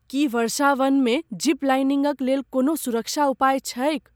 की वर्षावनमे जिप लाइनिंगक लेल कोनो सुरक्षा उपाय छैक ?